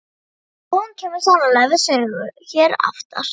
Og hún kemur sannarlega við sögu hér aftar.